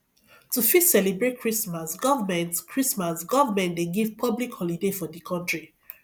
to fit celebrate christmas government christmas government dey give public holiday for di country